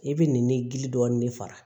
I bɛ nin gili dɔɔnin de fara